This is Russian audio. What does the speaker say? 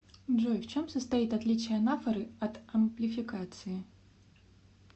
джой в чем состоит отличие анафоры от амплификации